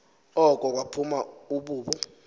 oko kwaphuma ibubu